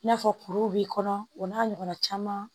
I n'a fɔ kuru b'i kɔnɔ o n'a ɲɔgɔnna caman